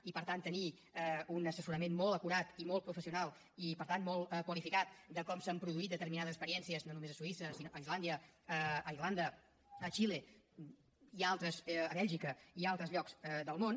i per tant tenir un assessorament molt acurat i molt professional i per tant molt qualificat de com s’han produït determinades experiències no només a suïssa sinó a islàndia a irlanda a xile a bèlgica i a altres llocs del món